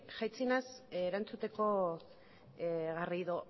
jaitsi naiz erantzuteko garrido